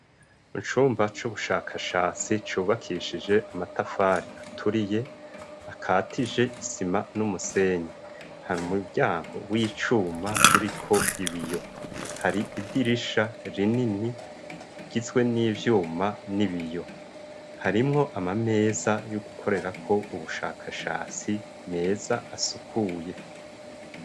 Icumba c'ubushakashatsi cubakishije amatafari aturiye akatije isima n'umusenyi. Hari umuryango w'icuma uriko ibiyo. Hari idirisha rinini rigizwe n'ivyuma n'ibiyo. Harimwo amameza yo gukorerako ubushakashatsi meza asukuye.